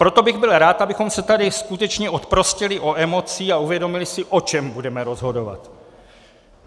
Proto bych byl rád, abychom se tady skutečně oprostili od emocí a uvědomili si, o čem budeme rozhodovat.